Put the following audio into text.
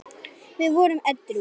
Við vorum edrú.